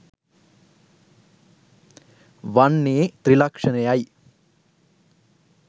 වන්නේ ත්‍රිලක්ෂණයයි.